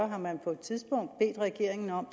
har man på et tidspunkt bedt regeringen om